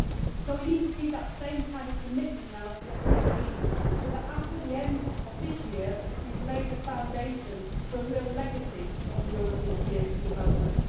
So we need to see that same kind of commitment now to the SDGs, so that after the end of this year we have laid the foundations for a real legacy of the European Year for Development.